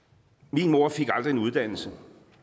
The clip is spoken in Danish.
min mor fik aldrig en uddannelse